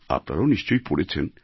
আপনারাও নিশ্চয়ই পড়েছেন